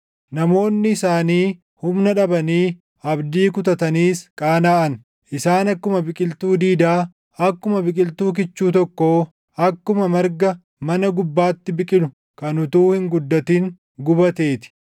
Namoonni isaanii humna dhabanii abdii kutataniis qaanaʼan. Isaan akkuma biqiltuu diidaa, akkuma biqiltuu kichuu tokkoo, akkuma marga mana gubbaatti biqilu kan utuu hin guddatin gubatee ti.